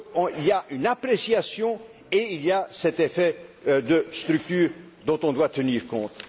Il y a une appréciation et il y a cet effet de structure dont on doit tenir compte.